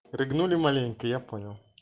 рыгнули маленько я понял